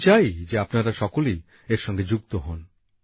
আমি চাই যে আপনারা সকলেই এর সঙ্গে যুক্ত হন